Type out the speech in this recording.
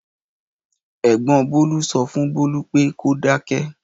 Ẹ̀gbọ́n Bólú sọ fún Bólú pé kó dáké.